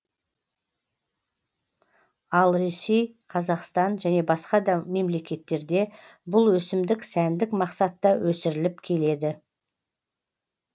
ал ресей қазақстан және басқа да мемлекеттерде бұл өсімдік сәндік мақсатта өсіріліп келеді